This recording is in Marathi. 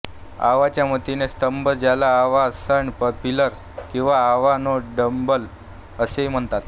अवाचे मातीचे स्तंभ ज्याला अवा सँड पिलर किंवा अवा नो डबान असेही म्हणतात